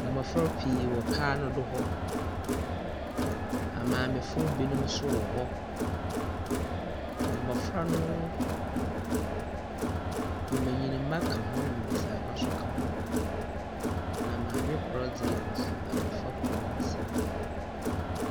Mmofra pii wɔ kwan do hɔ, maame foɔ bi nom nso wɔhɔ. Mmofra no nbenyini ka ho na mbesia nso ka ho na maame koro kita abɔfra koro no nsam.